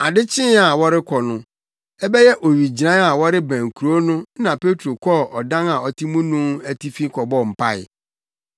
Ade kyee a wɔrekɔ no, ɛbɛyɛ owigyinae a wɔrebɛn kurow no na Petro kɔɔ ɔdan a ɔte mu no atifi kɔbɔɔ mpae.